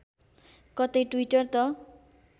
कतै ट्विटर त